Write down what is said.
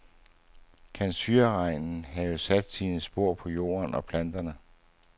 Kan syreregnen have sat sine spor på jorden og planterne?